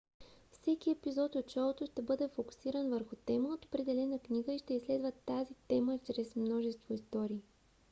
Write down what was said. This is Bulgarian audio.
всеки епизод от шоуто ще бъде фокусиран върху тема от определена книга и ще изследва тази тема чрез множество истории